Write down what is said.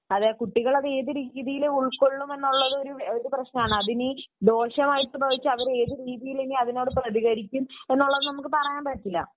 അതെ കുട്ടികൾ അത് ഏത് രീതിയിൽ ഉൾക്കൊള്ളുമെന്നുള്ളത് ഒരു പ്രശ്നമാണ് . അതിന് ദോഷമായിട്ട് ഭവിച്ചാൽ അത് ഏത് രീത്യിൽ പ്രതികരിക്കും എന്ന് നമുക്ക് പറയാൻ പറ്റില്ല